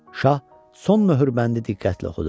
Şah son möhürbəndi diqqətlə oxudu.